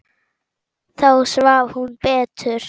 Þá svaf hún betur.